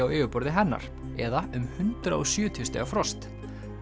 á yfirborðinu hennar eða um hundrað og sjötíu stiga frost